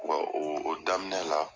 Wa o o daminɛ la